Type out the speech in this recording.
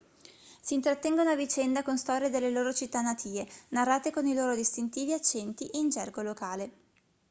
si intrattengono a vicenda con storie delle loro città natie narrate con i loro distintivi accenti e in gergo locale